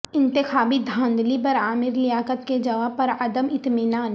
انتخابی دھاندلی پر عامر لیاقت کے جواب پر عدم اطمینان